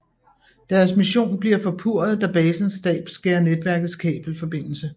Deres mission bliver forpurret da basens stab skærer netværkets kabel forbindelse